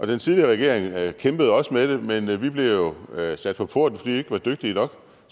den tidligere regering kæmpede også med det men vi blev jo sat på porten vi ikke var dygtige nok